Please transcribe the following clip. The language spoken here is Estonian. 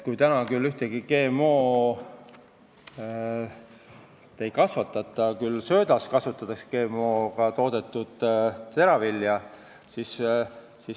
Praegu Eestis GMO-sid ei kasvatata, küll aga kasutatakse GM-teravilja söödaks.